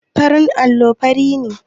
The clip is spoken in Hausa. Farin allo fari ne.